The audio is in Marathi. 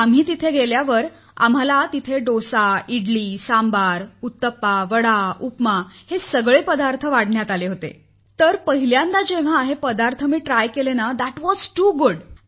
आम्ही तेथे गेल्यावर आम्हाला डोसा इडली सांबार उत्तपा वडा उपमा यांसारख्या पाककृती वाढण्यात आल्या होत्या तर पहिल्यांदा जेव्हा आम्ही पहिल्यांदा चाखलं तेव्हा तो अत्यंत सुंदर होता